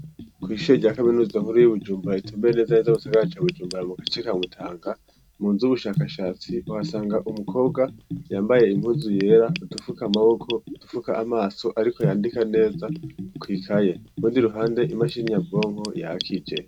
Kw'ishure rya kaminuza nkuru y'i Bujumbara itumbeye neza neza mu gisagara ca Bujumbara mu gace ka Mutanga, mu nzu y'ubushakashatsi, uhasanga umukobwa yambaye impuzu yera, udufuka amaboko, udufuka amaso, ariko yandika neza kw'ikaye. Urundi ruhande imashini nyabwonko yakije.